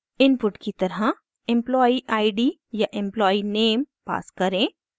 input की तरह employee id या employee name पास करें